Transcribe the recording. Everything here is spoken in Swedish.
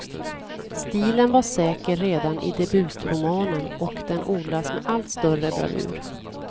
Stilen var säker redan i debutromanen och den odlas med allt större bravur.